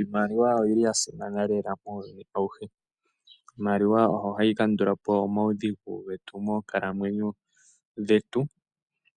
Iimaliwa oyi li ya simana lela muuyuni auhe. Iimaliwa oyo hayi kandula po omaudhigu getu moonkalamwenyo dhetu.